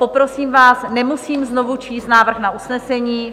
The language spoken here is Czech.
Poprosím vás, nemusím znovu číst návrh na usnesení?